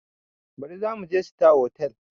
Baɗi zamuje sitar hotal